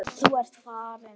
Þú ert farin.